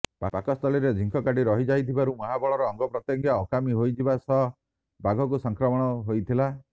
ପାକସ୍ଥଳୀରେ ଝିଙ୍କ କାଠି ରହିଯାଇଥିବାରୁ ମହାବଳର ଅଙ୍ଗପ୍ରତ୍ୟଙ୍ଗ ଅକାମୀ ହୋଇଯିବା ସହ ବାଘକୁ ସଂକ୍ରମଣ ହୋଇଥିଲା